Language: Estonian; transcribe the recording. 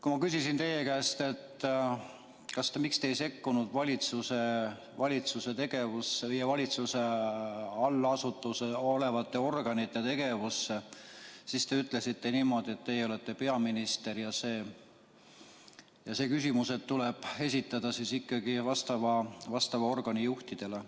Kui ma küsisin teie käest, miks te ei sekkunud valitsuse tegevusse või valitsuse allasutuseks olevate organite tegevusse, siis te ütlesite niimoodi, et teie olete peaminister ja see küsimus tuleb esitada vastava organi juhtidele.